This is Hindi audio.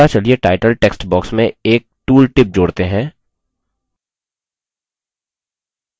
अगला चलिए टाइटल text box में एक tool tip जोड़ते हैं